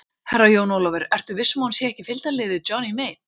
Herra Jón Ólafur, ertu viss um að hún sé ekki í fylgdarliði Johnny Mate?